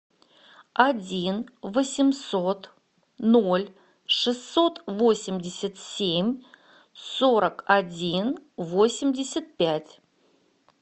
один восемьсот ноль шестьсот восемьдесят семь сорок один восемьдесят пять